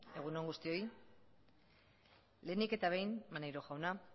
egun on guztioi lehenik eta behin maneiro jauna